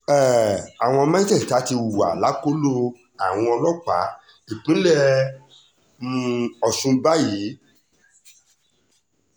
um àwọn mẹ́tẹ̀ẹ̀ta ti wà lákọlò àwọn ọlọ́pàá ìpínlẹ̀ um ogun báyìí